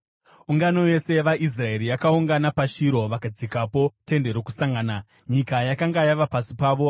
Ungano yose yavaIsraeri yakaungana paShiro vakadzikapo Tende Rokusangana. Nyika yakanga yava pasi pavo,